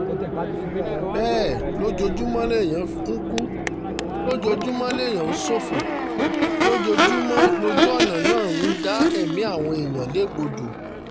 bẹ́ẹ̀ lójoojúmọ́ lèèyàn ń kú lójoojúmọ́ lẹ̀mí ń ṣọ̀fọ̀ lójoojúmọ́ lójú ọ̀nà náà ń dá ẹ̀mí àwọn èèyàn légbodò